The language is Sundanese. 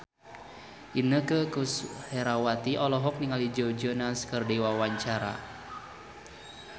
Inneke Koesherawati olohok ningali Joe Jonas keur diwawancara